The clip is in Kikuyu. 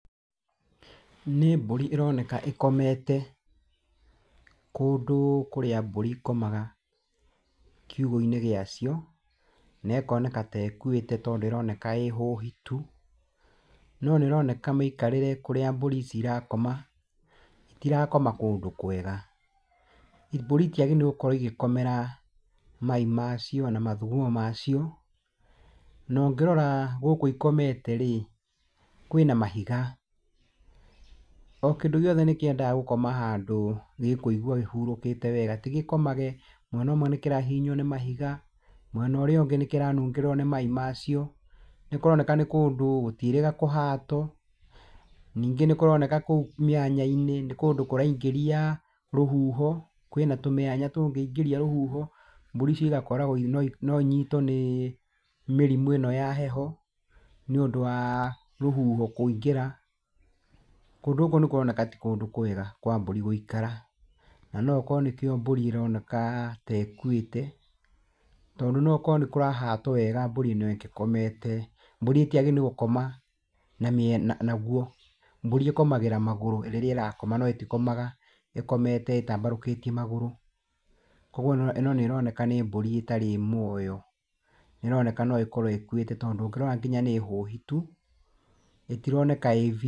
Nĩ mbũri ĩronekana ĩkomete kũndũ kũrĩa mbũri ikomaga kiugũ-inĩ gĩacio, na ikoneka ta ĩkuĩte tondũ ĩroneka ĩhũhitu, no ĩroneka mĩikarĩre kũrĩa mburi ici irakoma itarakoma kũndũ kwega, mbũri itiagĩrĩirwo nĩ gũkomera mai macio na mathugumo macio, na ũngĩrora gũkũ ĩkomete rĩ kwĩna mahiga. O kĩndũ gĩothe nĩ kĩendaga gũkoma handũ gĩkũigua kĩhurũkĩte wega ti gĩkomage mwena ũmwe nĩ kĩrahihinywo nĩ mahiga na mwena ũrĩa ũngĩ nĩ kĩranungĩrĩrwo nĩ mai macio, nĩkũroneka nĩ kũndũ gũtiĩrĩga kũhatwo. Ningĩ nĩ kũronekana kũu mĩenya-inĩ nĩ kũraingĩria rũhuho, kwĩna tũmĩanya tũngĩingĩria rũhuho mbũri icio igakoragwo no inyitwo nĩ mĩrimũ ĩno ya heho, nĩ ũndũ wa rũhuho kũingĩra, kũndũ gũkũ nĩ kũronekana ti kũndũ kwega kwa mbũri gũikara. Na nokorwo nĩ kĩo mbũri ĩronekana ta ĩkuĩte tondũ nokorwo nĩ kũrahatwo wega mbũri ĩno ĩngĩkomete, mburi ĩtiagĩrĩirwo nĩ gũkoma na mwena naguo, mbũri ikomagĩra magũrũ rĩrĩa ĩrakoma na tikomagĩra ĩtambarũkĩtie magũrũ, kwoguo ĩno ĩno nĩroneka nĩ mbũri ĩtarĩ muoyo nĩroneka no ĩkorwo ĩkuĩte tondũ ũngĩrora nginya nĩ hũhitu, ĩtironeka ĩĩ ..